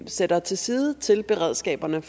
sætter til side til beredskaberne